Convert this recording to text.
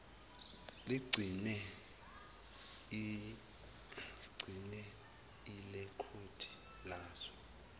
ligcine ilekhodi lazo